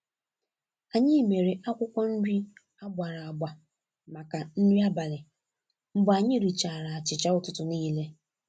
Anyị mere akwụkwọ nri a gbara agba màkà nri abalị mgbè anyị richara achịcha ụtụtụ niile.